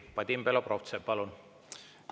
Vadim Belobrovtsev, palun!